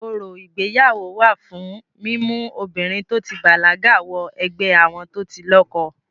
Orò ìgbéyàwó wà fún mímú obìnrin to ti bàlágà wọ ẹgbẹ́ àwọn tó ti lọ́kọ.